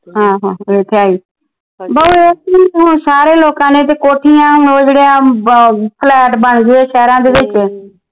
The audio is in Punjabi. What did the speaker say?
ਹਾਂ ਹਾਂ ਇਹ ਤਾ ਹੈ ਈ ਬਾਊ ਇਹ ਕੀ ਹੁਣ ਸਾਰੇ ਲੋਕਾਂ ਨੇ ਤਾ ਕੋਠੀਆਂ ਉਹ ਜਿਹੜੀਆਂ flat ਬਣ ਗਏ ਸ਼ਹਿਰਾ ਦੇ ਵਿਚ